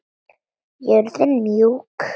Jörðin mjúk.